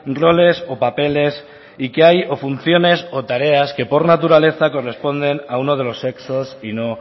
roles o papeles y que hay funciones o tareas que por naturaleza corresponden a uno de los sexos y no